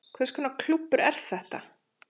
Hvers konar klúbbur er þetta